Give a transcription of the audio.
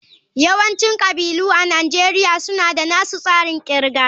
Yawancin kabilu a Najeriya suna da nasu tsarin kirga